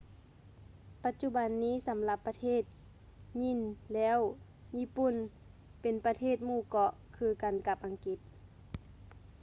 ປັດຈຸບັນນີ້ສຳລັບປະເທດຍີ່່ນແລ້ວ ຍີ່ປຸ່ນເປັນປະເທດໝູ່ເກາະ ຄືກັນກັບອັງກິດ